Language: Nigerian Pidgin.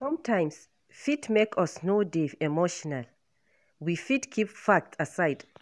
Sometimes fit make us no dey emotional, we fit keep facts aside